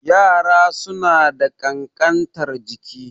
Yara suna da ƙankantar jiki